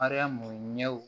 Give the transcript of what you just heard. Mariyamu ɲɛ